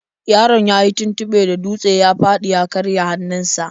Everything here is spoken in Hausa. Yaron yayi tuntuɓe da dutse ya fadi ya karya hannunsa.